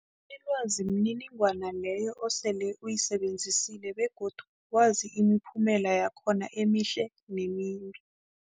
Ilwazi mniningwana leyo osele uyisebenzisile begodu wazi imiphumela yakhona emihle nemimbi.